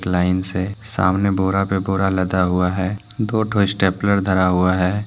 Line से सामने बोरा पे बोरा लदा हुआ है दो दो स्टेपलर धरा हुआ है।